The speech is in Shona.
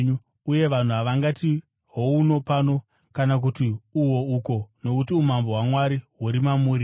uye vanhu havangati, ‘Hohuno pano’ kana kuti ‘Uho uko,’ nokuti umambo hwaMwari huri mamuri.”